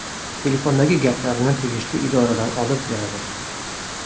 Telefondagi gaplarini tegishli idoralar olib beradi.